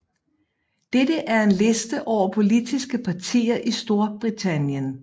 Dette er en liste over politiske partier i Storbritannien